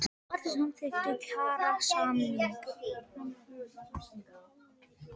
Allir samþykktu kjarasamning